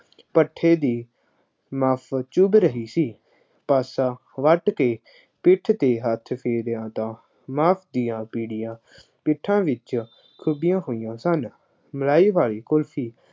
ਭੱਠੇ ਦੀ ਚੁੱਭ ਰਹੀ ਸੀ। ਪਾਸਾ ਵੱਟ ਕੇ ਪਿੱਠ ਤੇ ਹੱਥ ਫੇਰਿਆ ਤਾਂ ਪਿੱਠਾਂ ਵਿੱਚ ਖੁਭੀਆਂ ਹੋਈਆਂ ਸਨ। ਮਲਾਈ ਵਾਲੀ ਕੁਲਫੀ